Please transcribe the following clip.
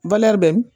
bɛn